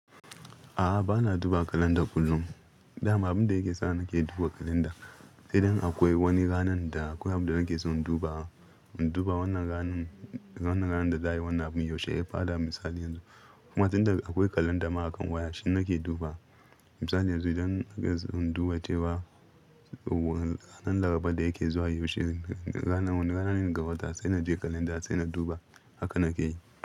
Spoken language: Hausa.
A'a bana duba kalanda kullum. Da ma abin da yake sa na ke duba kalanda, irin akwai wani ranan da akwai abin da nake so in dubawa. In duba wannan ranan, wannan ranan da za a yi wannan abun yaushe, ya fada misali. Kuma tunda akwai kalanda ma a kan waya shine nake dubawa. Misali yanzu idan ina son in duba cewa yawwa ran Laraba da yake zuwa yaushe ne, wane rana ne ga wata sai na je kalanda sai na duba haka nake yi.